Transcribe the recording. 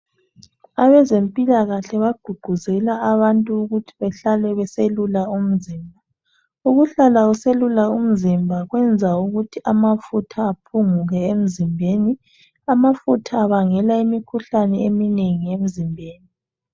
Abezempilakahle bagqugquzela abantu ukuthi behlale beselula umzimba. Ukuhlala uselula umzimba kwenza ukuthi amafutha aphunguke emzimbeni. Amafutha abangela imikhuhlane eminengi emzimbeni